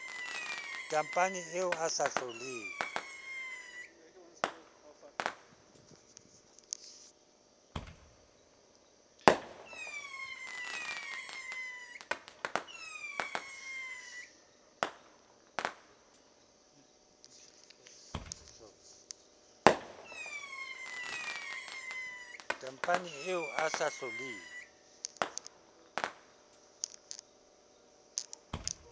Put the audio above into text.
tampane eo a sa hloleng